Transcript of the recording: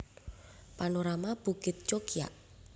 Panorama Bukit Cokiak